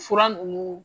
Fura ninnu